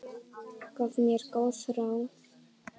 Gaf mér góð ráð.